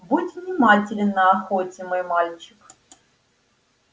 будь внимателен на охоте мой мальчик